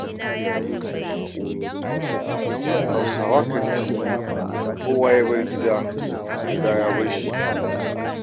Hausawa kan ce, kowa ya bar gida, gida ya bar shi.